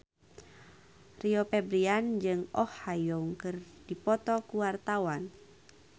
Rio Febrian jeung Oh Ha Young keur dipoto ku wartawan